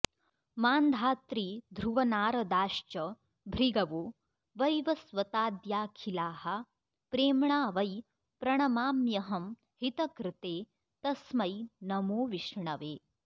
मान्धातृध्रुवनारदाश्च भृगवो वैवस्वताद्याखिलाः प्रेम्णा वै प्रणमाम्यहं हितकृते तस्मै नमो विष्णवे